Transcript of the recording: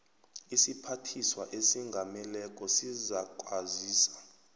isiphathiswa esingameleko sizakwazisa